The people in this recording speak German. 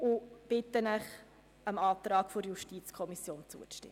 Ich bitte Sie, dem Antrag der JuKo zuzustimmen.